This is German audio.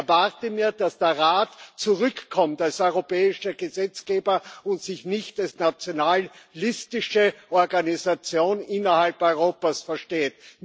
Ich erwarte mir, dass der Rat zurückkommt als europäischer Gesetzgeber und sich nicht als nationalistische Organisation innerhalb Europas versteht.